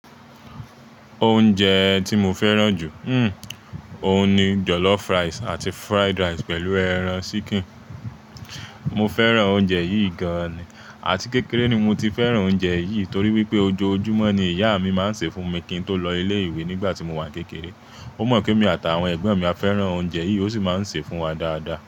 Oúnjẹ ti mo fẹràn juu hmmm óun ni jollof rice àti fried rice pẹ̀lú ẹran ṣíkìn. Mo fẹ́ràn oúnjẹ yìí gan-an àti kékeré ni mo ti fẹ́ràn oúnjẹ yìí torí wípé ojoojúmọ́ ni ìyá mi máa ń sè é fún mi kí n tó lọ ilé ìwé nígbà tí mo wà kékeré. O mo pe emi ati àwọn ẹgbọn mi a fẹràn ounjẹ yìí o si ma n ṣe fun wa daada.